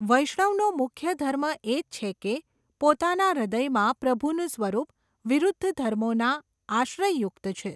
વૈષ્ણવનો મુખ્ય ધર્મ એ જ છે કે, પોતાના હૃદયમાં પ્રભુનું સ્વરૂપ, વિરૂદ્ધ ધર્મોના આશ્રયયુક્ત છે.